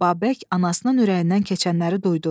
Babək anasının ürəyindən keçənləri duydu.